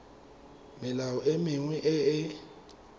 melao e mengwe e e